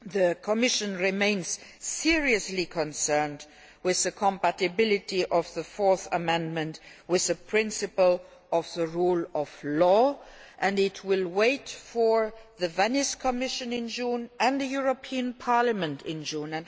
The Commission remains seriously concerned about the compatibility of the Fourth Amendment with the principle of the rule of law and will wait for the Venice Commission and the European Parliament in June.